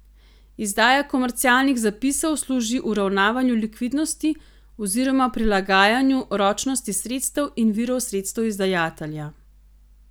Izdaja komercialnih zapisov služi uravnavanju likvidnosti oziroma prilagajanju ročnosti sredstev in virov sredstev izdajatelja.